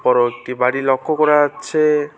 বড় একটি বাড়ি লক্ষ করা যাচ্ছে।